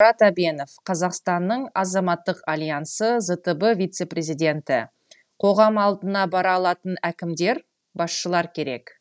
мұрат әбенов қазақстанның азаматтық альянсы зтб вице президенті қоғам алдына бара алатын әкімдер басшылар керек